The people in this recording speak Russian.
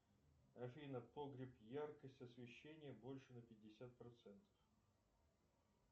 афина погреб яркость освещения больше на пятьдесят процентов